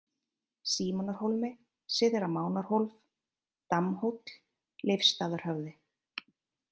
Símonarhólmi, Syðra Manarhólf, Dammhóll, Leifsstaðahöfði